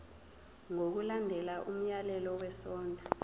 ngokulandela umyalelo wesondlo